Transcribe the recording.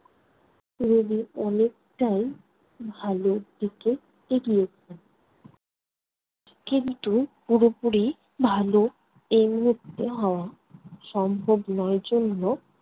রোগী অনেকটাই ভালোর দিকে এগিয়েছেন। কিন্তু পুরোপুরি ভালো এই মুহূর্তে হওয়া সম্ভব নয় জন্য